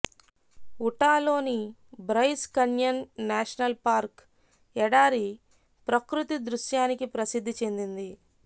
ఉటాలోని Bryce Canyon National Park ఎడారి ప్రకృతి దృశ్యానికి ప్రసిద్ధి చెందింది